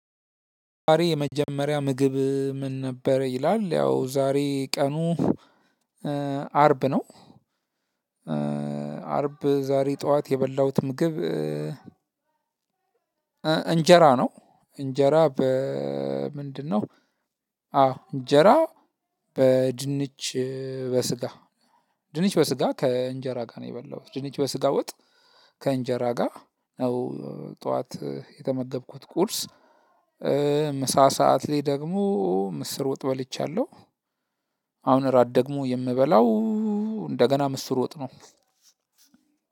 ዛሬ የመጀመሪያ ምግብህ ምን ነበር? ይላል ያው ዛሬ ቀኑ አርብ ነው። አርብ ዛሬ ጠዋት የበላሁት ምግብ እንጀራ ነው። እንጀራ በ ምንድነው? አዎ እንጀራ በድንች በስጋ ድንች በስጋ ከእንጀራ ጋር ነው የበላሁት ድንች በስጋ ውጥ ከእንጀራ ጋር ነው። ጠዋት የተመገብኩት ቁርስ ምሳ ሰዓት ላይ ደግሞ ምስር ወጥ በልቻለሁ። አሁን ራት ደግሞ የምበላው እንደገና ምስር ወጥ ነው።